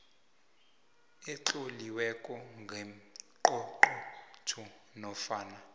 etloliweko kangqongqotjhe nofana